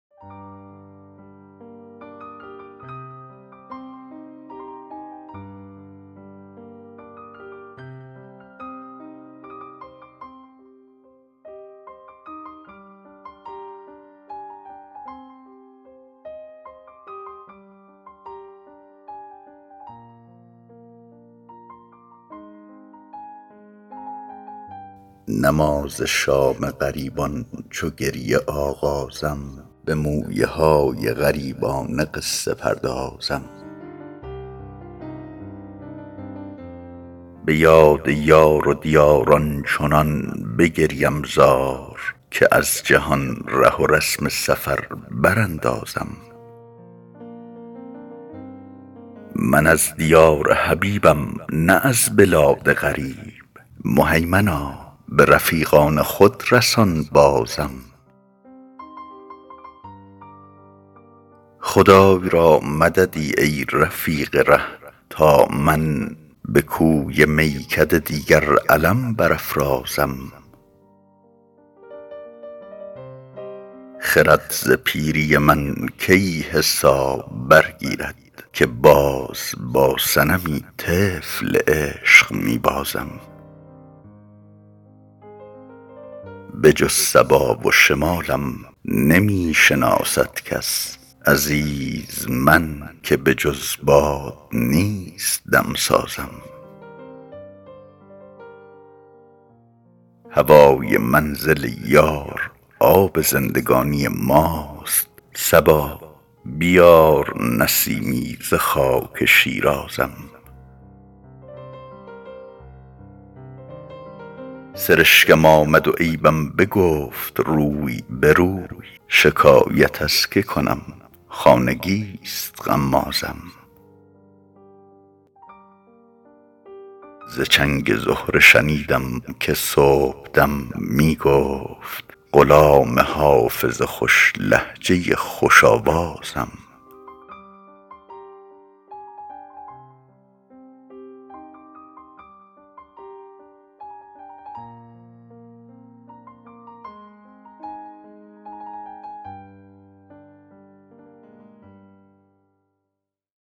نماز شام غریبان چو گریه آغازم به مویه های غریبانه قصه پردازم به یاد یار و دیار آنچنان بگریم زار که از جهان ره و رسم سفر براندازم من از دیار حبیبم نه از بلاد غریب مهیمنا به رفیقان خود رسان بازم خدای را مددی ای رفیق ره تا من به کوی میکده دیگر علم برافرازم خرد ز پیری من کی حساب برگیرد که باز با صنمی طفل عشق می بازم بجز صبا و شمالم نمی شناسد کس عزیز من که بجز باد نیست دم سازم هوای منزل یار آب زندگانی ماست صبا بیار نسیمی ز خاک شیرازم سرشکم آمد و عیبم بگفت روی به روی شکایت از که کنم خانگی ست غمازم ز چنگ زهره شنیدم که صبح دم می گفت غلام حافظ خوش لهجه خوش آوازم